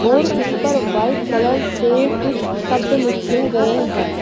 और उस पर वाइट कलर से कुछ शब्द लिखे गए हैं।